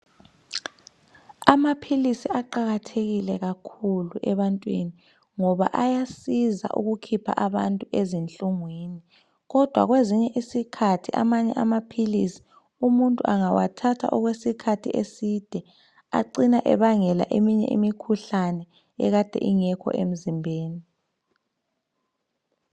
Amaphilisi aqakathekile kakhulu ebantwini ngoba ayasiza ukukhipha abantu ezinhlungwini kodwa kwezinye Izikhathi amanye amaphilisi umuntu angawathatha okwesikhathi eside acina ebangela eminye imikhuhlane ekade ingekho emzimbeni .